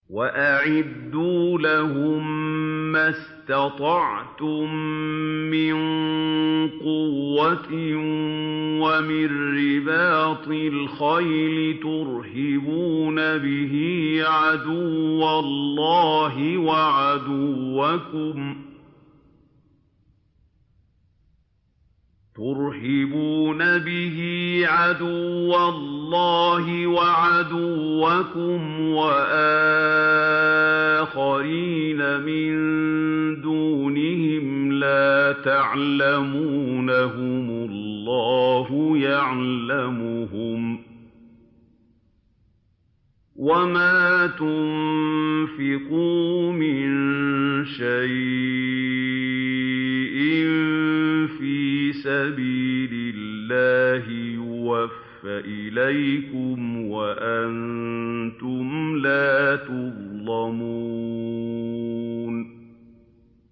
وَأَعِدُّوا لَهُم مَّا اسْتَطَعْتُم مِّن قُوَّةٍ وَمِن رِّبَاطِ الْخَيْلِ تُرْهِبُونَ بِهِ عَدُوَّ اللَّهِ وَعَدُوَّكُمْ وَآخَرِينَ مِن دُونِهِمْ لَا تَعْلَمُونَهُمُ اللَّهُ يَعْلَمُهُمْ ۚ وَمَا تُنفِقُوا مِن شَيْءٍ فِي سَبِيلِ اللَّهِ يُوَفَّ إِلَيْكُمْ وَأَنتُمْ لَا تُظْلَمُونَ